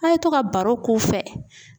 A' ye to ka baro k'u fɛ